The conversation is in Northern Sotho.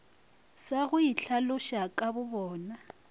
sa go itlhaloša ka bobona